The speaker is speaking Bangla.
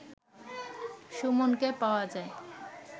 সুমনকে পাওয়া যায়